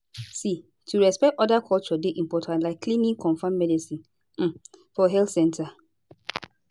see to respect oda culture dey important like clinic confam medicine um for health center